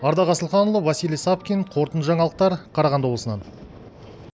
ардақ асылханұлы василий савкин қорытынды жаңалықтар қарағанды облысынан